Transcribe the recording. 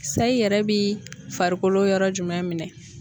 Sayi yɛrɛ bi farikolo yɔrɔ jumɛn minɛn?